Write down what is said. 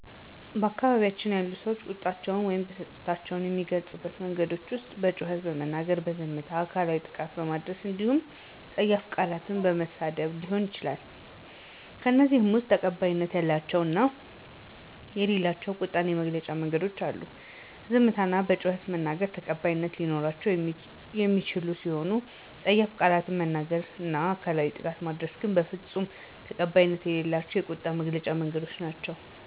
በአካባቢያችን ያሉ ሰዎች ቁጣቸውን ወይም ብስጭታቸውን ከሚገልፁባቸው መንገዶች ዉስጥ በጩኸት በመናገር፣ በዝምታ፣ አካላዊ ጥቃት በማድረስ እንዲሁም ፀያፍ ቃላትን በመሳደብ ሊሆን ይችላል። ከእነዚህም ውስጥ ተቀባይነት ያላቸው እና የሌላቸው ቁጣን መግለጫ መንገዶች አሉ፤ ዝምታ እና በጩኸት መናገር ተቀባይት ሊኖራቸው የሚችሉ ሲሆኑ ፀያፍ ቃላትን መናገር እና አካላዊ ጥቃት ማድረስ ግን በፍፁም ተቀባይነት የሌላቸው ቁጣን የመግለጫ መንገዶች ናቸው።